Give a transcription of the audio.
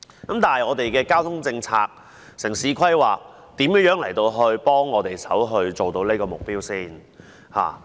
但是，我們的交通政策、城市規劃如何協助我們達成這個目標？